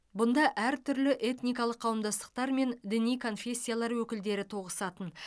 бұнда әртүрлі этникалық қауымдастықтар мен діни конфессиялар өкілдері тоғысатын